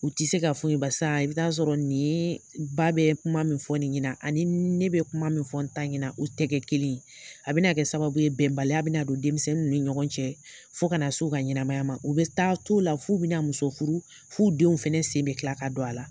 U tɛ se k'a fɔ bairsa i bi taa sɔrɔ nin ba bɛ kuma min fɔ nin ɲɛna ani ne bɛ kuma min fɔ ta ɲin u tɛgɛ kelen a be na kɛ sababuye bɛnbaliya bɛ na don denmisɛnnin ni ɲɔgɔn cɛ fo kana na su ka ɲɛnamaya ma u bɛ taa to la fo bɛna muso furu fu'u denw fana sen bɛ tila ka don a la